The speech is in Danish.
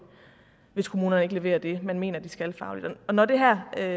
hvis kommunerne ikke leverer det man mener de skal fagligt og når det her er